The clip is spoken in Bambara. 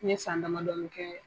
N ye san damadɔni kɛ